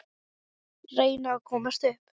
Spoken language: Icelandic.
Reyna að komast upp.